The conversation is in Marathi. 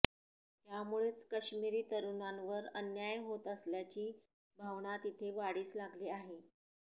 त्यामुळेच काश्मिरी तरुणांवर अन्याय होत असल्याची भावना तिथे वाढीस लागली आहे